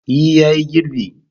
E ya yi girbi.